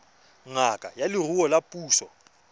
ngaka ya leruo ya puso